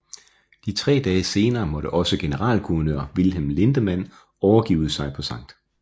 Tre dage senere måtte også generalguvernør Wilhelm Lindemann overgive sig på Skt